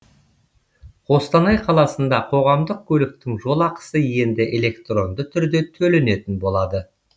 қостанай қаласында қоғамдық көліктің жолақысы енді электронды түрде төленетін болады